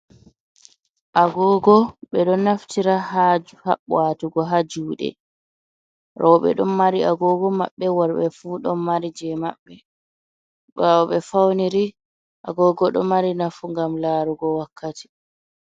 Agogo, ɓe ɗon naftira ha ha watugo ha juɗe. Roɓe don mari agogo maɓɓe worɓe fu ɗon mari je maɓɓe. Ɓawo ɓe fauniri, agogo ɗo mari nafu gam larugo wakkati.